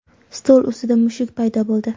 stol ustida mushuk paydo bo‘ldi.